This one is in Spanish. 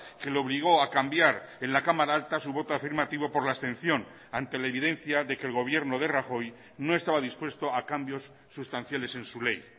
que le obligó a cambiar en la cámara alta su voto afirmativo por la abstención ante la evidencia de que el gobierno de rajoy no estaba dispuesto a cambios sustanciales en su ley